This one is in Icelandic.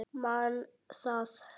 Man það.